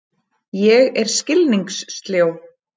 Ég er skilningssljó.